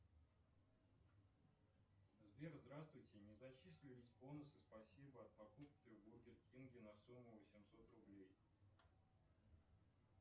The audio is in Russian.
сбер здравствуйте не зачислились бонусы спасибо от покупки в бургер кинге на сумму восемьсот рублей